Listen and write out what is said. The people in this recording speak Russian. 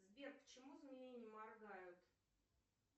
сбер почему змеи не моргают